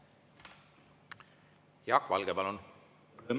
Jaak Valge, palun!